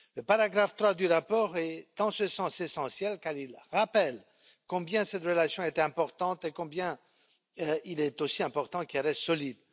Le troisième paragraphe du rapport est dans ce sens essentiel, car il rappelle combien cette relation est importante et combien il est aussi important qu'elle reste solide.